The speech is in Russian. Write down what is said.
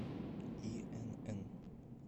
инн